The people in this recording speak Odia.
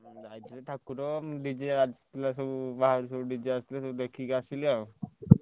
ଯାଇଥିଲି ଠାକୁର ଉଁ DJ ଆସିଥିଲା ସବୁ ବାହାରୁ ସବୁ DJ ଆସି ଥିଲା ଦେଖିକି ଆସିଲି ଆଉ।